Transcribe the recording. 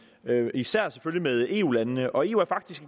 især selvfølgelig med eu landene og eu er faktisk